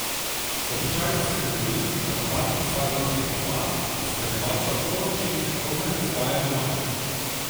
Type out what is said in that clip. Običajno se dogovorim, da na tako masažo prideta dva, da spremljevalca lahko naučim, kako naj jo izvaja doma.